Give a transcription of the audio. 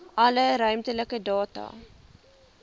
alle ruimtelike data